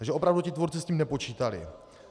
Takže opravdu ti tvůrci s tím nepočítali.